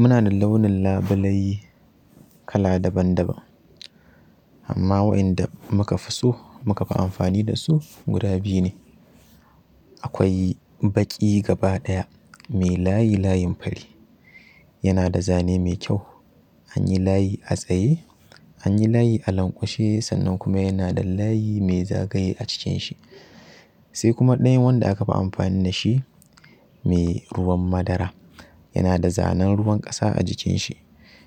Muna da launin labule kala daban-daban amma wa'yanda mu ka fi so mu ka fi amfani da su guda biyu ne. Akwai baƙi gaba ɗaya mai layi layin fari, yana da zane mai kyau, an yi layi a tsaye, an yi layi a lanƙwashe sannan kuma yana da layi mai zagaye a jikinshi sai kuma ɗayan wanda aka fi amfani da shi mai ruwan madara. Yana da zanen ruwan ƙasa a jikinshi